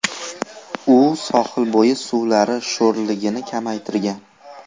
U sohilbo‘yi suvlari sho‘rligini kamaytirgan.